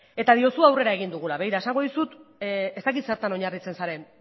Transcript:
eta diozu aurrera egin dugula begira esango dizut ez dakit zertan oinarritzen zaren